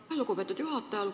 Aitäh, lugupeetud juhataja!